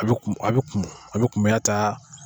A bi a bi kumu a bi kumuya ta.